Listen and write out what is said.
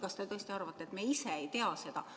Kas te tõesti arvate, et me ise ei tea seda?